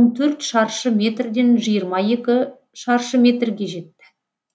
он төрт шаршы метрден жиырма екі шаршы метрге жетті